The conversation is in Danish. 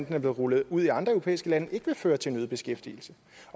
er blevet rullet ud i andre europæiske at den ikke vil føre til øget beskæftigelse